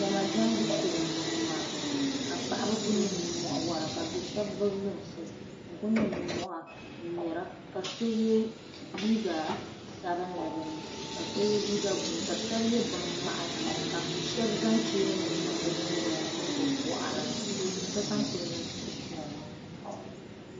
Diɛma diɛmbu shee n boŋo maa ka paɣaba ku niŋ nimmohi n wora ka do shab gbubi lunsi n ku niŋ nimmohi n ŋmɛra ka so yɛ liiga sabinli bi ni ka so yɛ liiga buluu ka shab yɛ binŋmahi ka shab zaŋ cheeni nim niŋ bi nyingoya ni mini bi boɣari ni ka sokam ku niŋ suhupiɛlli